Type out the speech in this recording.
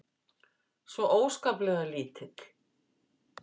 Svo óskaplega lítill.